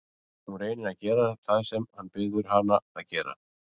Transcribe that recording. Hún reynir að gera það sem hann biður hana að gera.